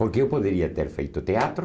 Porque eu poderia ter feito teatro,